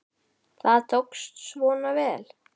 Það tókst svona vel.